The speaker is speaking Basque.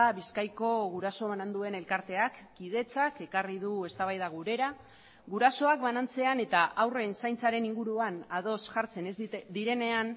bizkaiko guraso bananduen elkarteak kidetzak ekarri du eztabaida gurera gurasoak banantzean eta haurren zaintzaren inguruan ados jartzen ez direnean